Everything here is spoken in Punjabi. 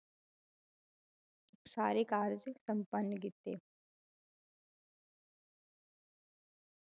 ਸਾਰੇ ਕਾਰਜ ਸੰਪੰਨ ਕੀਤੇ।